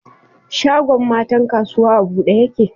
Shagon matan kasuwa a bude yake?